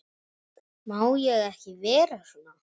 Má ég ekki vera svona?